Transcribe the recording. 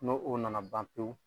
N'o o nana ban pewu